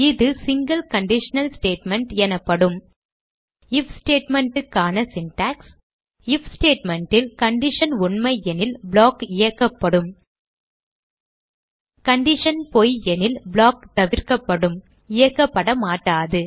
இது single conditional statement எனப்படும் IF statement க்கான சின்டாக்ஸ் ஐஎஃப் statement ல் கண்டிஷன் உண்மையெனில் ப்ளாக் இயக்கப்படும் கண்டிஷன் பொய் எனில் ப்ளாக் தவிர்க்கப்படும் இயக்கப்படமாட்டாது